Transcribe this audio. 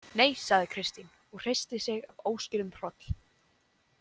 Nei, sagði Kristín og hristi sig af óskýrðum hroll.